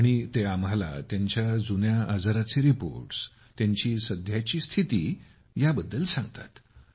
आणि ते आम्हाला त्यांच्या जुन्या आजाराचे रिपोर्ट्स त्यांची सध्याची स्थिती सर्वकाही सांगतात